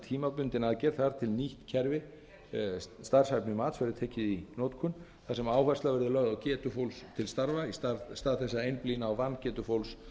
til að nýtt kerfi verður tekið í notkun þar sem áhersla verður lögð á getu fólks til starfa í stað þess að einblína á vangetu fólks